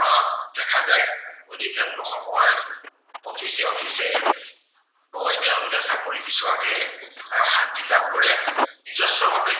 অধিকাংশ সময় office এ office এ গৈ তেওঁলোকে চাকৰি বিচৰাতহে আহ শান্তি লাভ কৰে। নিজস্ব ভাৱে